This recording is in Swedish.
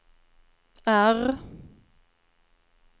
R